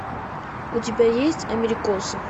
у тебя есть америкосы